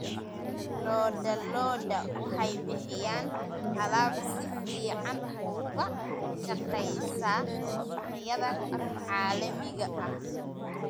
Lo'da lo'da waxay bixiyaan alaab si fiican uga shaqeysa suuqyada caalamiga ah.